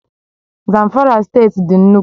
Zamfara State dị nnukwu